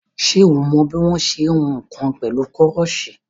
Ṣé o mọ bí wọ́n ṣe ń hun nǹkan pẹ̀lú koroṣé?